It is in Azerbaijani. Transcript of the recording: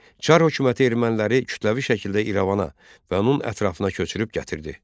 Çar hökuməti erməniləri kütləvi şəkildə İrəvana və onun ətrafına köçürüb gətirdi.